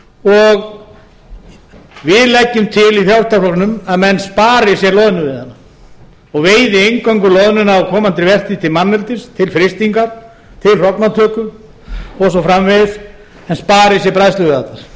og við leggjum til í frjálslynda flokknum að menn spari sér loðnuveiðina og veiði eingöngu loðnuna á komandi verið til manneldis til frystingar til hrognatöku og svo framvegis en spari sér bræðsluveiðarnar